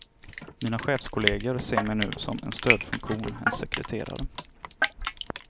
Mina chefskollegor ser mig nu som en stödfunktion, en sekreterare.